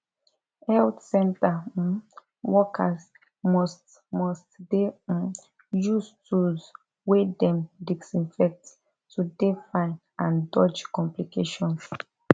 health center um workers must must dey um use tools wey dem disinfect to dey fine and dodge complications